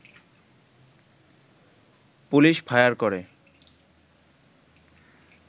police fire করে